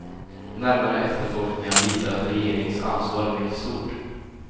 Närmare efterforskningar visar att regeringens ansvar är mycket stort.